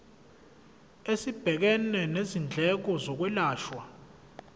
esibhekene nezindleko zokwelashwa